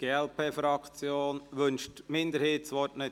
Wünscht die Minderheit das Wort nicht?